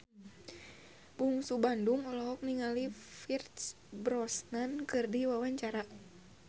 Bungsu Bandung olohok ningali Pierce Brosnan keur diwawancara